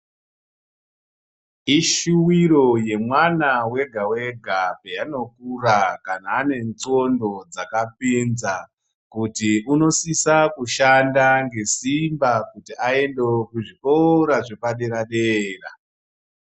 Ishuwiro yemwana wega wega, peanokura kana anendxondo, dzakapinza kuti unosisa kushanda ngesimba kuti aendewo kuzvikora zvepaderadera.